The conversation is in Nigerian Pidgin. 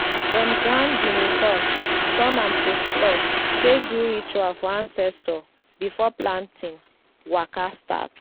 dem grind guinea corn turn am to floor take do ritual for ancestors before planting waka start.